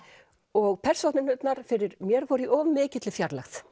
og persónurnar fyrir mér voru í of mikilli fjarlægð